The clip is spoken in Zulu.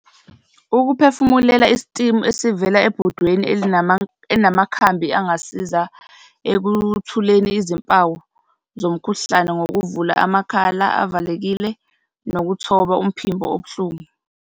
Ukuphefumulela isitimu esivela ebhodweni elinamakhambi angasiza ekuthuleni izimpawu zomkhuhlane ngokuvula amakhala avalekile nokuthoba umphimbo obuhlungu.